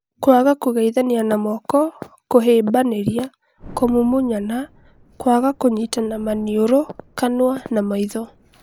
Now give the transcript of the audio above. Kwaga kũgeithania na moko, kũhĩmbanĩria, kũmumunyana, kwaga kũnyita manioro kanũa na maitho